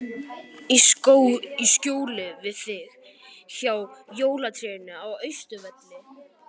Í skjóli við þig, hjá jólatrénu á Austurvelli.